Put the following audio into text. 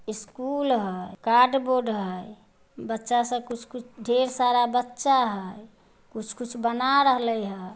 School हय card board हय बच्चा सब कुछ-कुछ ढेर सारा बच्चा हय कुछ-कुछ बना रहलेय हय।